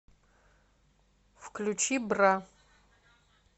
включи бра